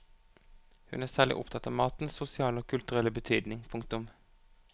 Hun er særlig opptatt av matens sosiale og kulturelle betydning. punktum